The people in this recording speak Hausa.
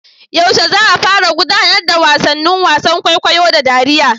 Yaushe za a gudanar da gasar wasannin wasan kwaikwayo da dariya?